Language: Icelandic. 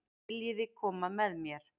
Viljiði koma með mér?